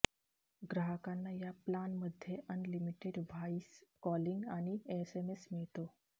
ग्राहकांना या प्लानमध्ये अनलिमिटेड व्हाइस कॉलिंग आणि एसएमएस मिळतो